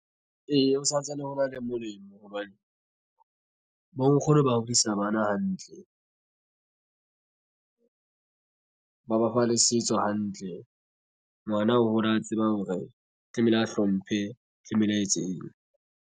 Ee, ho santsane ho na le molemo hobane bo nkgono ba hodisa bana hantle ba ba fa le setso hantle. Ngwana o hola a tseba hore tlamehile a hlomphe tlanehole a etseng.